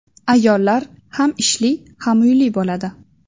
Ayollar ham ishli, ham uyli bo‘ladi.